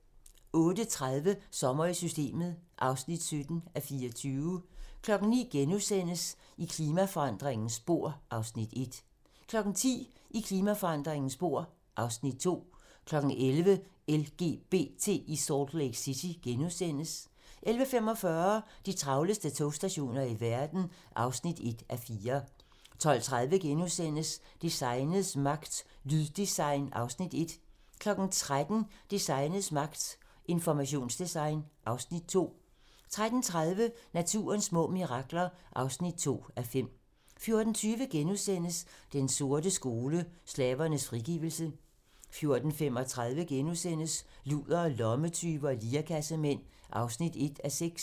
08:30: Sommer i Systemet (17:24) 09:00: I klimaforandringernes spor (Afs. 1)* 10:00: I klimaforandringernes spor (Afs. 2) 11:00: LGBT i Salt Lake City * 11:45: De travleste togstationer i verden (1:4) 12:30: Designets magt - Lyddesign (Afs. 1)* 13:00: Designets magt - Informationsdesign (Afs. 2) 13:30: Naturens små mirakler (2:5) 14:20: Den sorte skole: Slavernes frigivelse * 14:35: Ludere, lommetyve og lirekassemænd (1:6)*